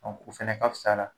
Ɔ o fɛnɛ ka fus'a la